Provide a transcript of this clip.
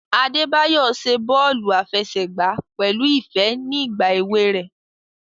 Adebayo ṣe bọọlu afẹsẹgba pẹlu ifẹ ni igba ewe rẹ.